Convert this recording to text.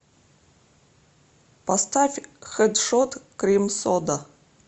поставь хэдшот крим сода